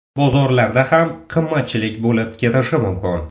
Bozorlarda ham qimmatchilik bo‘lib ketishi mumkin.